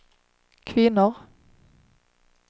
kvinnor